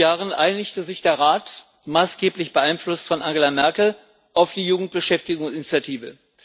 Vor fünf Jahren einigte sich der Rat maßgeblich beeinflusst von Angela Merkel auf die Jugendbeschäftigungsinitiative.